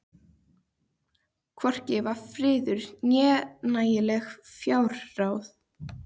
Hvorki var friður né nægileg fjárráð.